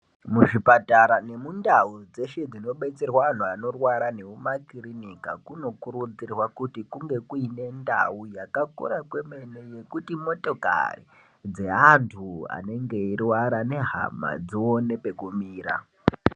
Muzvipatara nemundau dzeshe dzinobetserwa antu anorwa nemumakirinika kunokurudzirwa kuti kunge kuine ndau yakakura kwemene yekuti motakari dzeantu anenge eirwara nehama dzione pekumira.